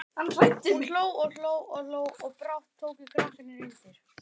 Hún hló og hló og brátt tóku krakkarnir undir.